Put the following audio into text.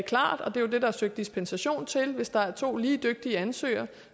klart og det er jo det der er søgt dispensation til at hvis der er to lige dygtige ansøgere